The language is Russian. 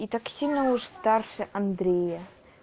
и так сильно уж старше андрея